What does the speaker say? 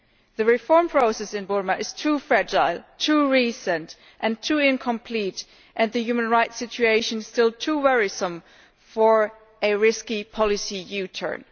The reform process in Burma is too fragile, too recent and too incomplete, and the human rights situation is still too worrisome, for a risky policy U turn.